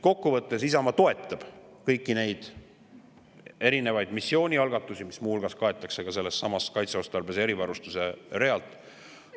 Kokku võttes, Isamaa toetab kõiki neid erinevaid missioonialgatusi, mis muu hulgas kaetakse ka sellesama kaitseotstarbelise erivarustuse realt.